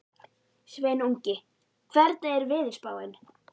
Sveinungi, hvernig er veðurspáin?